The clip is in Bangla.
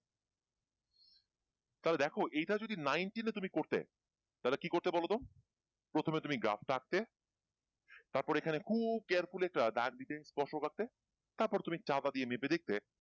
তাহলে দেখো এইটা যদি তুমি nine ten এ তুমি করতে তাহলে কি করতে বলো তো প্রথমে তুমি গ্রাফ টা আঁকতে খুব carefully একটা দাক দিতে পোশাক আঁকতে তারপর তুমি চাপা দিয়ে মেপে দেখতে